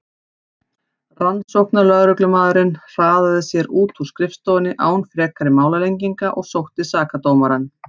Rannsóknarlögreglumaðurinn hraðaði sér út úr skrifstofunni án frekari málalenginga og sótti sakadómarann.